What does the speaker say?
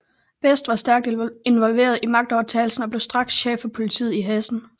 Best var stærkt involveret i magtovertagelsen og blev straks chef for politiet i Hessen